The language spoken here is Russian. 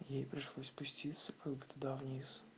ей пришлось спуститься как бы туда вниз